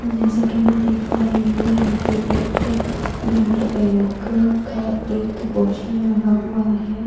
जैसा कि मैं देख पा रही हूं यहाँ पर एक ब्लड बैंक का एक पोस्टर लगा हुआ है।